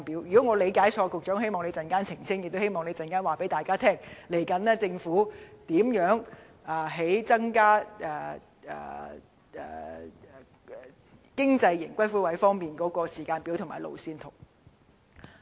如果我的理解錯誤，希望局長稍後澄清，亦希望他告訴大家，政府未來增加"經濟型"龕位的時間表及路線圖。